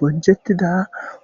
Bonchettida